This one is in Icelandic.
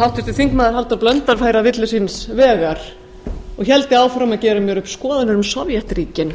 háttvirtur þingmaður halldór blöndal færi að villu síns vegar og héldi áfram að gera mér upp skoðanir um sovétríkin